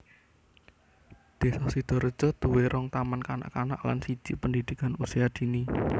Désa Sidareja duwé rong taman kanak kanak lan siji pendidikan usia dini